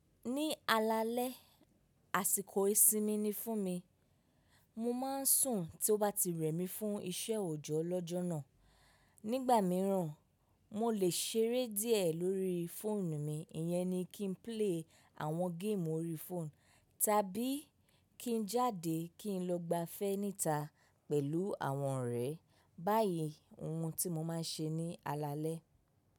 Ní alalẹ́, àsìkò ìsinmi ni fún mi. Mo máa ń sùn tí ó bá ti rẹ̀ mí fún iṣẹ́ òjọ́ lọ́jọ́ náà. Nígbà mìíràn, mo lè ṣeré díẹ̀ lórí fóònù mi. Ìyẹn ni kí n play àwọn game orí phone tàbí kí n jáde kí n lọ gbafẹ́ níta pẹ̀lú àwọn ọ̀rẹ́. Báyìí, ohun tí mo máa ń ṣe ní alalẹ́.